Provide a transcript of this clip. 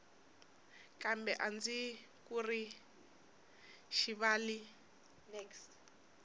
kambe a ndzi ku rivali